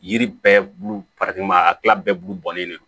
Yiri bɛɛ bulu a kilan bɛɛ bu bɔlen don